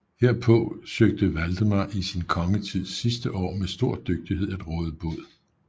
Herpå søgte Valdemar i sin kongetids sidste år med stor dygtighed at råde bod